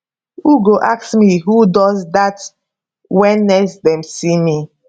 who go ask me who does dat wen next dem see me